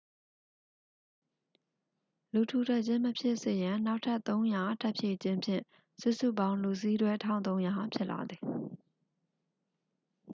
လူထူထပ်ခြင်း မဖြစ်စေရန် နောက်ထပ် 300 ထပ်ဖြည့်ခြင်းဖြင့် စုစုပေါင်း လူစီးတွဲ 1300 ဖြစ်လာသည်